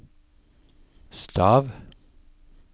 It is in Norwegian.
stav